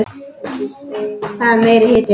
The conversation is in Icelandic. Það er meiri hitinn!